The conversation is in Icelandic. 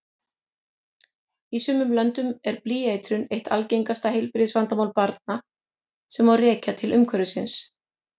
Í sumum löndum er blýeitrun eitt algengasta heilbrigðisvandamál barna sem rekja má til umhverfisins.